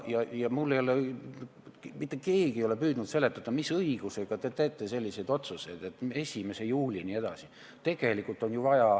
Mitte keegi ei ole püüdnud seletada, mis õigusega te selliseid otsuseid teete.